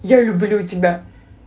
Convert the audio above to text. я люблю тебя